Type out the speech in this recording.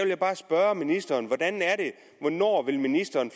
jeg bare spørge ministeren hvornår ministeren